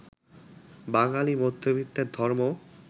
বাঙালি মধ্যবিত্তের ধর্ম